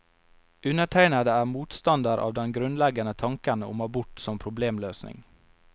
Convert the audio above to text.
Undertegnede er motstander av den grunnleggende tanken om abort som problemløsning.